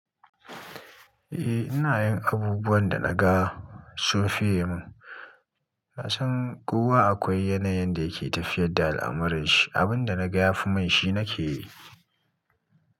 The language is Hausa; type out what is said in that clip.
Eh ina yin abubuwan da naga sun fiye mun. Ka san kowa akwai yanayin da yake tafiyar da al'amuranshi, abunda naga yafi mun shi nake yi.